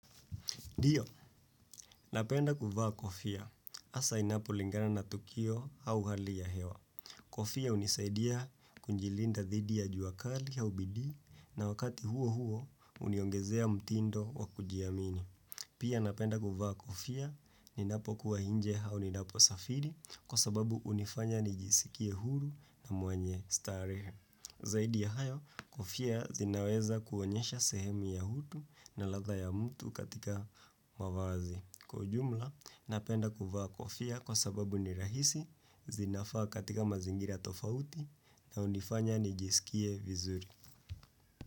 Ndiyo, napenda kuvaa kofia. Hasa inapolingana na tukio au hali ya hewa. Kofia hunisaidia kujilinda dhidi ya jua kali ya ubidii na wakati huo huo uniongezea mtindo wa kujiamini. Pia napenda kuvaa kofia ninapokuwa nje au ninaposafiri kwa sababu hunifanya nijisikie huru na mwenye starehe. Zaidi ya hayo, kofia zinaweza kuonyesha sehemu ya utu na ladha ya mtu katika mavazi. Kwa ujumla, napenda kuvaa kofia kwa sababu ni rahisi, zinafaa katika mazingira tofauti na hunifanya nijisikie vizuri.